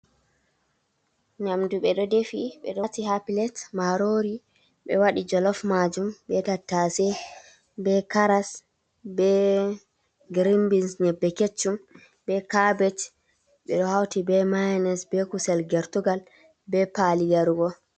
Nyamdu ɓe ɗo defi ɓe ɗo hauti ha pilat, marori be waɗi jolaf majum be tatase, be karas be girin bins nyebbe kecchum be karbech, ɓe ɗo hauti be miyonis be kusel gertugal be paali yaarugo.